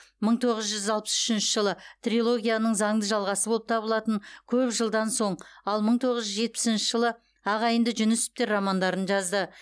мың тоғыз жүз алпыс үшінші жылы трилогияның заңды жалғасы болып табылатын көп жылдан соң ал мың тоғыз жүз жетпісінші жылы ағайынды жүнісовтер романдарын жазды